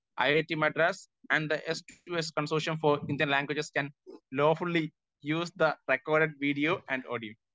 Speaker 1 I I T Madras and the S to S consortium for Indian languages lawfully use the recorded video and audio.